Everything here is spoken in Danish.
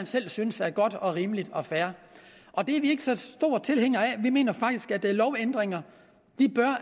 selv synes er godt og rimeligt og fair og det er vi ikke så store tilhængere af for vi mener faktisk at lovændringer